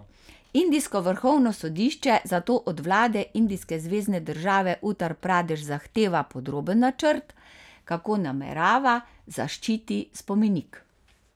Indijsko vrhovno sodišče zato od vlade indijske zvezne države Utar Pradeš zahteva podroben načrt, kako namerava zaščiti spomenik.